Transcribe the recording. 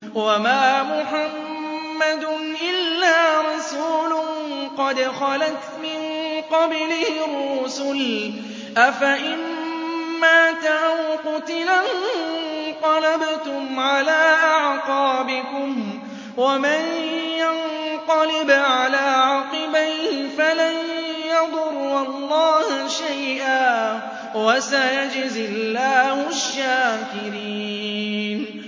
وَمَا مُحَمَّدٌ إِلَّا رَسُولٌ قَدْ خَلَتْ مِن قَبْلِهِ الرُّسُلُ ۚ أَفَإِن مَّاتَ أَوْ قُتِلَ انقَلَبْتُمْ عَلَىٰ أَعْقَابِكُمْ ۚ وَمَن يَنقَلِبْ عَلَىٰ عَقِبَيْهِ فَلَن يَضُرَّ اللَّهَ شَيْئًا ۗ وَسَيَجْزِي اللَّهُ الشَّاكِرِينَ